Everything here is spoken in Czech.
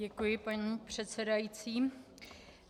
Děkuji, paní předsedající.